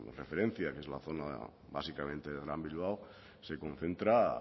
referencia que es la zona básicamente del gran bilbao se concentra